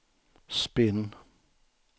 spinn